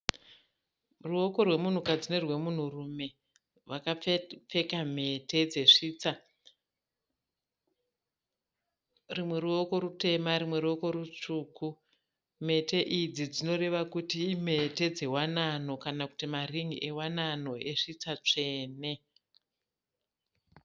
Ruoko rwemunhukadzi nerwemunhurume vakapfeka mhete dzesvitsa. Rimwe ruoko rutema rimwe ruoko rutsvuku. Mhete idzi dzinoreva kuti imhete dzewanano kana kuti marin'i ewanano esvitsa tsvene.